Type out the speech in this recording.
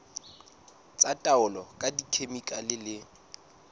tsa taolo ka dikhemikhale le